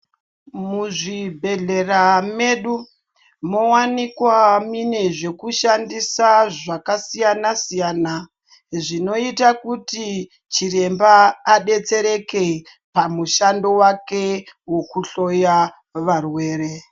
Muzvibhehlera medu mowanikwa mune zvekushandisa zvakasiyanasiyana zvinoita kuti chiremba adetsereke pamushando wake wekuhloya varwere.